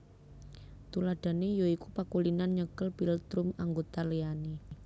Tuladhané ya iku pakulinan nyekel philtrum anggota liyane